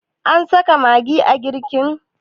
an saka magi a girkin?